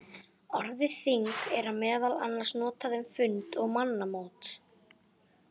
Orðið þing er meðal annars notað um fund og mannamót.